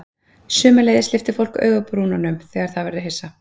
Sömuleiðis lyftir fólk augabrúnunum þegar það verður hissa.